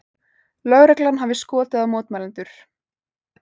Lögreglan hafi skotið á mótmælendur